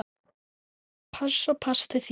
Pass og pass til þín.